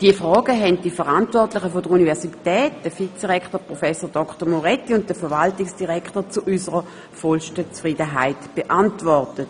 Diese Fragen haben die Verantwortlichen der Universität, der Vizerektor Herr Prof. Dr. Moretti und der Verwaltungsdirektor Herr Dr. Odermatt zu unserer vollsten Zufriedenheit beantwortet.